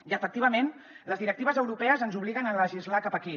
i efectivament les directives europees ens obliguen a legislar cap aquí